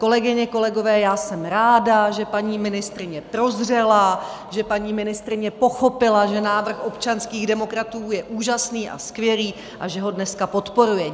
Kolegyně, kolegové, já jsem ráda, že paní ministryně prozřela, že paní ministryně pochopila, že návrh občanských demokratů je úžasný a skvělý, a že ho dneska podporuje.